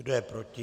Kdo je proti?